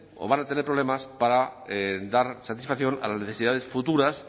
o van a tener problemas para dar satisfacción a las necesidades futuras